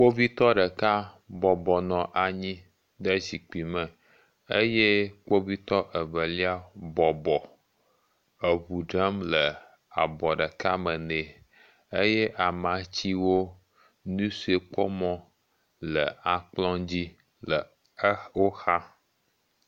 Kpovitɔ ɖeka bɔbɔnɔ anyi ɖe zikpui me eye kpovitɔ evelia bɔbɔ eŋu dram le abɔ ɖeka me nɛ. Eye amatsiwo nusikpɔmɔ le akplɔ dzi le xewo xa.